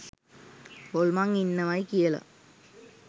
හොල්මන් ඉන්නවයි කියලා